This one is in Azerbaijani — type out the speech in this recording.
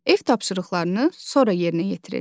Ev tapşırıqlarını sonra yerinə yetirirlər.